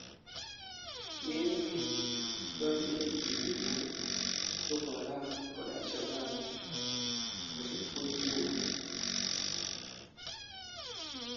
ng'eny gi donjo ei grube mar Boko Haram kod Al-shaba koso puonj Muma